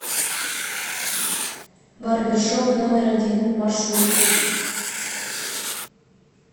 барбершоп номер один маршрут